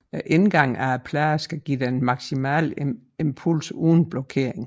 Indgangene af pladerne skal give den maksimale impuls uden blokering